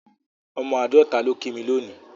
Ọmọ Àádọ́ta ló kí mí lónìí